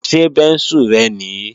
Ṣé bẹ́ńsù rẹ nìí?